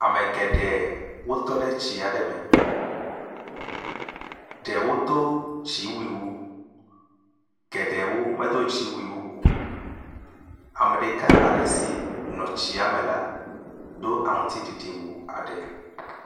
ame geɖe wotɔɖe tsi aɖe me ɖewo dó dziwui wu geɖewo medó dziwui o ame ɖeka si nɔ tsia me la dó aŋtiɖiɖi wu aɖe